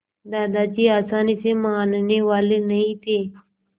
दादाजी आसानी से मानने वाले नहीं थे